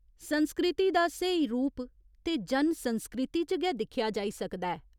संस्कृति दा स्हेई रूप ते जन संस्कृति च गै दिक्खेआ जाई सकदा ऐ।